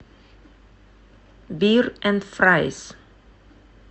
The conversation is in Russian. бир энд фрайс